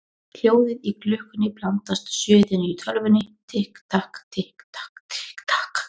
Hljóðið í klukkunni blandast suðinu í tölvunni: Tikk takk, tikk takk, tikk takk.